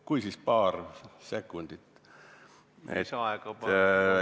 Kui, siis paar sekundit.